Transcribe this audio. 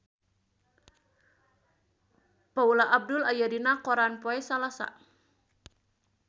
Paula Abdul aya dina koran poe Salasa